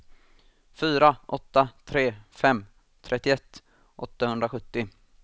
fyra åtta tre fem trettioett åttahundrasjuttio